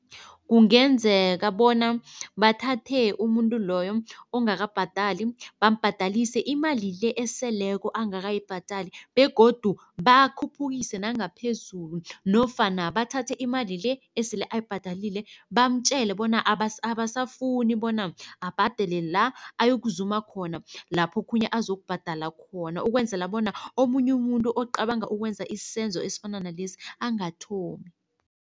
Kungenzeka bona bathathe umuntu loyo ongakabhadali bambhadalise imali le eseleko angakayibhadali begodu bakhuphukise nangaphezulu nofana bathathe imali le esele ayibhadalile bamtjele bona abasafuni bona abhadele la, ayokuzuma khona lapho okhunye azokubhadala khona ukwenzela bona omunye umuntu ocabanga ukwenza isenzo esifana nalesi angathomi.